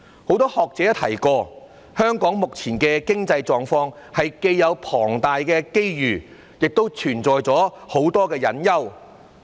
很多學者也提過，香港目前的經濟狀況是既有龐大機遇，亦存在很多隱憂。